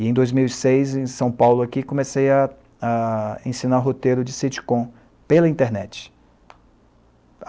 E em dois mil e seis, em São Paulo, aqui, comecei a a ensinar roteiro de sitcom pela internet.